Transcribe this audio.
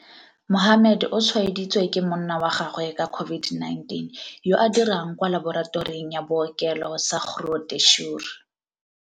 Mohammed o tshwaeditswe ke monna wa gagwe ka COVID-19, yo a dirang kwa laboratoring ya bookelo sa Groote Schuur.